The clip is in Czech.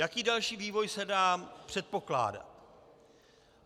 Jaký další vývoj se dá předpokládat?